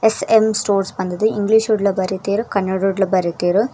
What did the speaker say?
SM stores ಪಂದ್ ದು English ಡ್ಲ ಬರೆತೆರ್ ಕನ್ನಡೊಡ್ಲ ಬರೆತೆರ್.